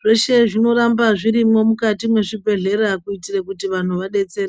Zveshe izvi zvinoramba zvirimwo mukati mwezvibhehlera kuitira kuti vantu vadetsereke.